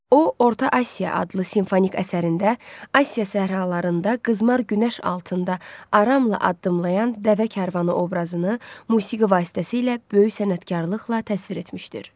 O, Orta Asiya adlı simfonik əsərində Asiya səhralarında qızmar günəş altında aramla addımlayan dəvə kərvanı obrazını musiqi vasitəsilə böyük sənətkarlıqla təsvir etmişdir.